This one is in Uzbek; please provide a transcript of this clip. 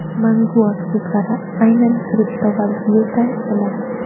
Mangu aktivlari – aynan kriptovalyuta emas!